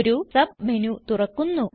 ഒരു സബ്മെനു തുറക്കുന്നു